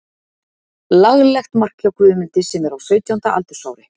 Laglegt mark hjá Guðmundi sem er á sautjánda aldursári.